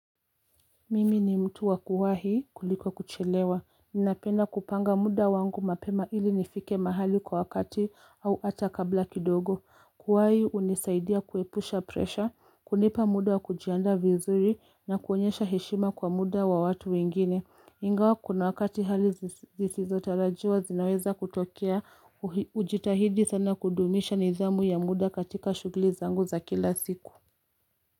Mimi ni mtu wakuwhi kuliko kuchelewa. Ninapenda kupanga muda wangu mapema ili nifike mahali kwa wakati au hata kabla kidogo. Kuwahi hunisaidia kuepusha presha, kunipa muda wakujianda vizuri na kuonyesha heshima kwa muda wa watu wengine. Ingawa kuna wakati hali zisizo talajiwa zinaweza kutokea hujitahidi sana kudumisha nidhamu ya muda katika shughuli zangu za kila siku.